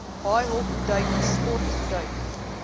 haaihok duik sportduik